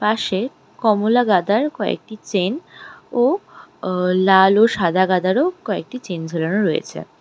পাশে কমলা গাঁদার কয়েকটি চেন ও আ লাল ও সাদা গাঁদারও কয়েকটি চেন ঝোলানো রয়েছে।